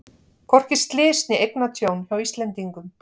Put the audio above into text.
Hvorki slys né eignatjón hjá Íslendingum